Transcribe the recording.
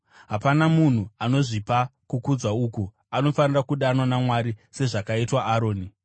Hapana munhu anozvipa kukudzwa uku; anofanira kudanwa naMwari, sezvakaitwa Aroni.